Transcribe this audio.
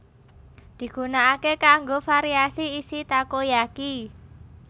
Digunakake kanggo variasi isi takoyaki